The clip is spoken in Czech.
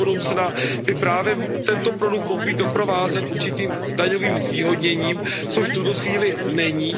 do budoucna by právě tento produkt mohl být doprovázen určitým daňovým zvýhodněním, což v tuto chvíli není.